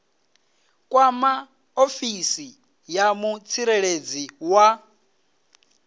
kwama ofisi ya mutsireledzi wa